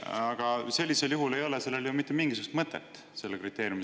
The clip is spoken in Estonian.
" Aga sellisel juhul ei ole sellel kriteeriumil ju mitte mingisugust mõtet.